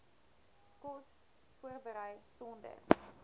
kos voorberei sonder